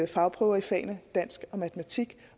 fagprøver i fagene dansk og matematik